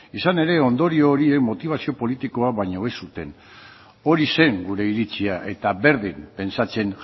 izan ere ondorio horiek motibazio politikoa baino ez zuten hori zen gure iritzia eta berdin pentsatzen